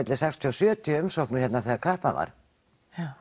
sextíu til sjötíu umsóknir þegar kreppan var